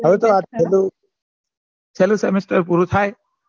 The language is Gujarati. પેલું semester પૂરું થાય